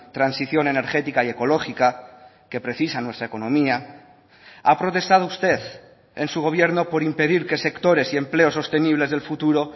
transición energética y ecológica que precisa nuestra economía ha protestado usted en su gobierno por impedir que sectores y empleos sostenibles del futuro